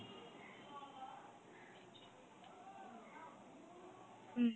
হুম।